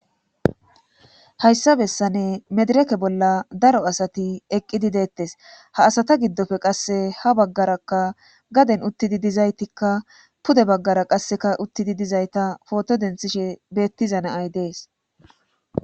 hayssa bessane medireke bolla daro asati eqqidi deettes ha asata giddofe qasse ha baggarakka gaden uttidi dizaytikka pude baggara qasseka uttidi dizayta pooto denthishe beettiza naay dees